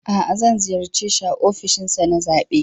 A'a, zan ziyarce shi a ofishinsa na zaɓe